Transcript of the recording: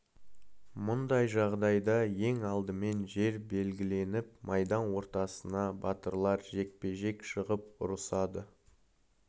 мұндай жағдайда ең алдымен жер белгіленіп майдан ортасына батырлар жекпе-жек шығып ұрысады